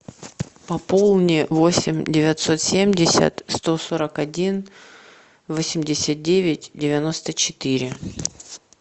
пополни восемь девятьсот семьдесят сто сорок один восемьдесят девять девяносто четыре